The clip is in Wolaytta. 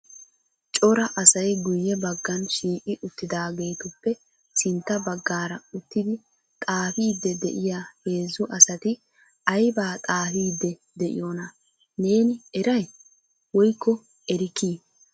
Cora asay guyye baggan shiiqi uttidaagetuppe sintta baggaara uttidi xaafide de'iyaa heezzu asati aybba xaafide de'iyoona neeni eray woykko erikki?